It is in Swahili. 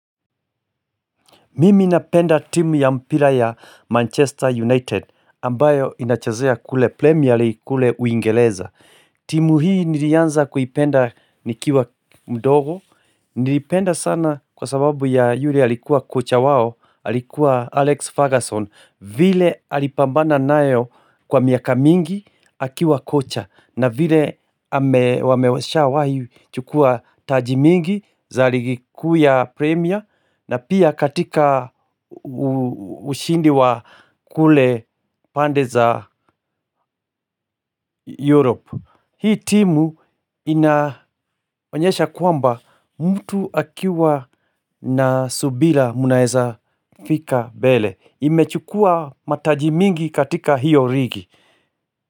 Mimi napenda timu ya mpira ya ''Manchester United'' ambayo inachazea kule ''premier league'' kule uingereza. Timu hii nilianza kuipenda nikiwa mdogo. Nilipenda sana kwa sababu ya yule alikuwa kocha wao, alikuwa Alex Ferguson. Vile alipambana nayo kwa miaka mingi akiwa kocha na vile wamewashawahi chukua taji mingi za ligi kuu ya premier. Na pia katika ushindi wa kule pande za Europa Hii timu inaonyesha kwamba mtu akiwa na subira mnaeza fika mbele Imechukua mataji mingi katika hiyo ligi.